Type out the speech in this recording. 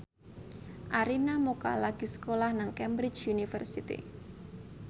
Arina Mocca lagi sekolah nang Cambridge University